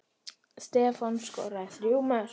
Stefán skoraði þrjú mörk.